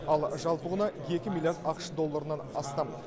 ал жалпы құны екі миллиард ақш долларынан астам